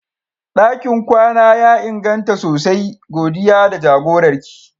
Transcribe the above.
Dakin kwana ya inganta sosai, godiya da jagorar ki.